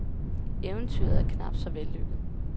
Eventyret er knapt så vellykket.